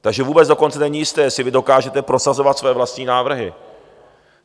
Takže vůbec dokonce není jisté, jestli vy dokážete prosazovat své vlastní návrhy.